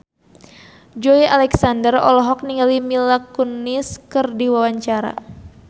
Joey Alexander olohok ningali Mila Kunis keur diwawancara